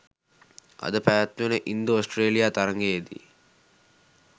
අද පැවැත්වෙන ඉන්දු ඔස්ට්‍රේලියා තරගයේදී